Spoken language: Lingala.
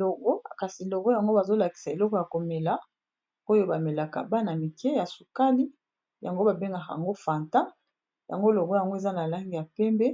Logo kasi logo yango bazo lakisa eloko ya ko mela oyo ba melaka bana mike ya sukali yango ba bengaka yango fanta, yango logo yango eza na langi ya pembe,